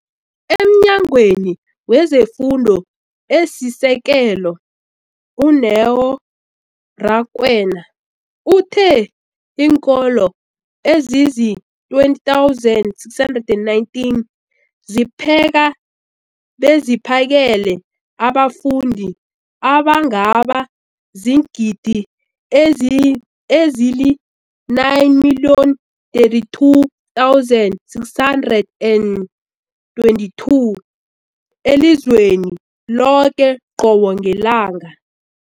EmNyangweni wezeFundo esiSekelo, u-Neo Rakwena, uthe iinkolo ezizi-20 619 zipheka beziphakele abafundi abangaba ziingidi ezili-9 032 622 elizweni loke qobe ngelanga.